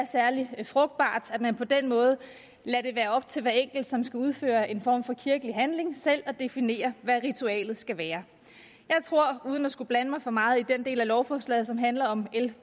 særlig frugtbart at man på den måde lader det være op til hver enkelt som skal udføre en form for kirkelig handling selv at definere hvad ritualet skal være jeg tror uden at skulle blande mig meget i den del af lovforslaget som handler om l